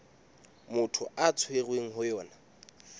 motho a tshwerweng ho yona